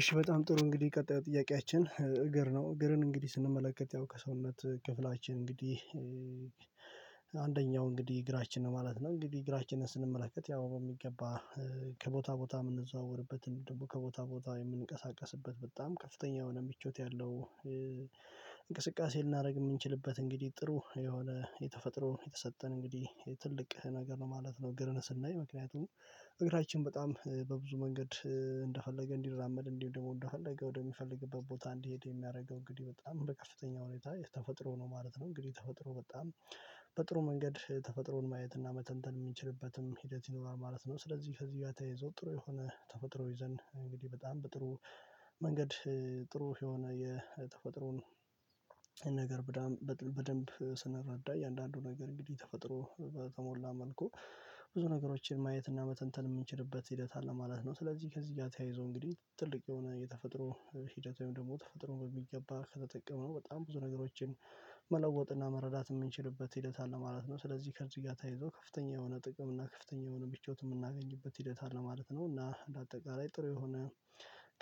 እሺ በጣም ጥሩ እንግዲህ ቀጣዩ ጥያቄያችን እግር ነው እግርን እንግዲህ ስንመለከት ከሰውነት ክፍላችን እንግዲህ አንደኛው እንግዲህ እግራችን ነው ማለት ነው እንግዲህ እግራችንን ስንመለከት ያው በሚገባ ከቦታ ቦታ የምንዘዋወርበትን ደግሞ ከቦታ ቦታ የምንቀሳቀስበት በጣም ከፍተኛ የሆነ ምቾት ያለው እንቅስቃሴ ልናደርግ እምንችልበት እንግዲህ ጥሩ የሆነ የተፈጥሮ የተሰጠን እንግዲህ ትልቅ ነገር ነው ማለት ነው። ግርነት ስናይ ምክንያቱም እግራችን በጣም በብዙ መንገድ እንደፈለገ እንዲራመድ እንዲሆን ደግሞ እንደፈለገ ወደሚፈልግበት ቦታ እንዲሄድ የሚያደርገው እንግዲህ በጣም በከፍተኛ ሁኔታ የተፈጥሮ ነው ማለት ነው። እንግዲህ ተፈጥሮ በጣም በጥሩ መንገድ ተፈጥሮን ማየት እና መተንተን እምንችልበትም ሂደት ይኖራል ማለት ነው። ስለዚህ ከዚህ ጋር ተያይዞ ጥሩ የሆነ ተፈጥሮ ይዘን እንግዲህ በጣም በጥሩ መንገድ ጥሩ የሆነ የተፈጥሮን ነገር በደንብ ስንረዳ እያንዳንዱ ነገር እንግዲህ ተፈጥሮ በተሞላ መልኩ ብዙ ነገሮችን ማየት እና መተንተን እምንችልበት ሂደት አለ ማለት ነው። ስለዚህ ከዚህ ጋር ተያይዞ እንግዲህ ትልቅ የሆነ የተፈጥሮ ሂደት ወይም ደሞ ተፈጥሮ በሚገባ ከተጠቀመው በጣም ብዙ ነገሮችን መለወጥና መረዳት እምንችልበት ሂደት አለ ማለት ነው። ስለዚህ ከዚህ ጋ ታይዞ ከፍተኛ የሆነ ጥቅም እና ከፍተኛ የሆነ ምቾት እምናገኝበት ሂደት አለ ማለት ነው። እና በአጠቃላይ ጥሩ የሆነ